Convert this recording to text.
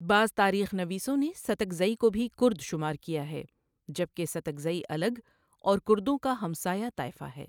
بعض تاریخ نویسوں نے ساتکزئی کو بهی کرد شمار کیا ہے، جبکه ساتکزئی الگ اور کردوں کا همسایه طائفه ہے.